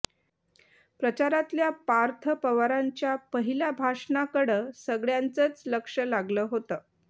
प्रचारातल्य़ा पार्थ पवारांच्या पहिल्या भाषणाकडं सगळ्यांचंच लक्ष लागलं होतं